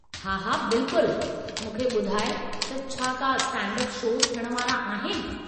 हा हा बिल्कुलु मूंखे ॿुधाइ त छा का स्टैंड-अप शोज़ थियण वारा आहिनि।